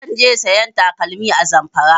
Zan je sayan takalmi a Zamfara